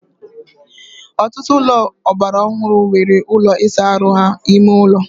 ọtụtụ ụlọ ọgbara ọhụrụ nwere ụlọ ịsa ahụ ha n'ime ụlọ